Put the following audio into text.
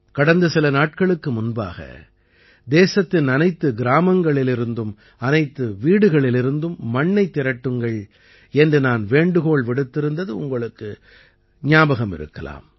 கடந்த சில நாட்களுக்கு முன்பாக தேசத்தின் அனைத்து கிராமங்களிலிருந்தும் அனைத்து வீடுகளிலிருந்தும் மண்ணைத் திரட்டுங்கள் என்று நான் வேண்டுகோள் விடுத்திருந்தது உங்களுக்கு ஞாபகம் இருக்கலாம்